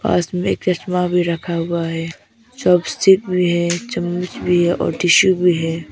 पास में एक चश्मा भी रखा हुआ हैं। चॉपस्टिक भी हैं चम्मच भी हैं और टिशू भी हैं।